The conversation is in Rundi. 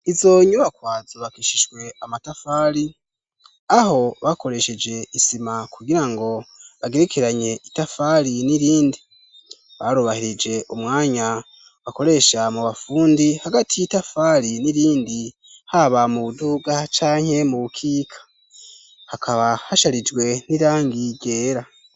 Izo nyubakwa zubakishijwe amatafari, aho bakoresheje isima kugira ngo agerekeranye itafari n'irindi. Barubahirije umwanya bakoresha mu bafundi hagati y'itafari n'irindi, haba mu buduga canke mu bukika. Hakaba hasharijwe n'irangi ryera.